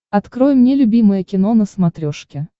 открой мне любимое кино на смотрешке